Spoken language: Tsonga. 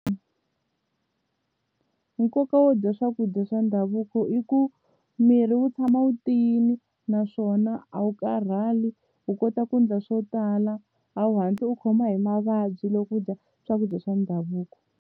Nkoka wo dya swakudya swa ndhavuko i ku miri wu tshama wu tiyini naswona a wu karhali u kota ku ndla swo tala a wu hatli u khoma hi mavabyi loko u dya swakudya swa ndhavuko.